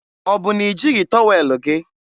Ọ bụ na i jighị tọwel gị?